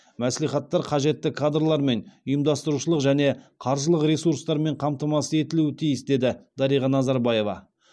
мәслихаттар қажетті кадрлармен ұйымдастырушылық және қаржылық ресурстармен қамтамасыз етілуі тиіс деді дариға назарбаева